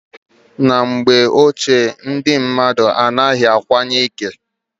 Na mgbe ochie ndi mmadụ anaghị akwanye ike.